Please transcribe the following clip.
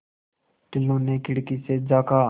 टुल्लु ने खिड़की से झाँका